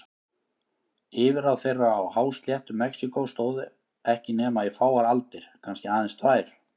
Yfirráð þeirra á hásléttu Mexíkó stóðu ekki nema í fáar aldir, kannski aðeins tvær.